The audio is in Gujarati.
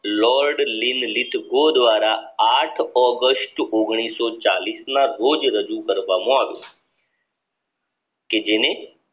લોર્ડ લીલિતો દ્વારા ઓગસ્ટ ના રોજ રજૂ કરવામાં આવ્યો કે જેને